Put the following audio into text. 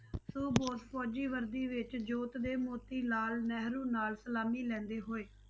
ਸੋ ਬੋਸ ਫ਼ੌਜੀ ਵਰਦੀ ਵਿੱਚ ਜੋਤ ਦੇ ਮੌਤੀ ਲਾਲ ਨਹਿਰੂ ਨਾਲ ਸਲਾਮੀ ਲੈਂਦੇ ਹੋਏ।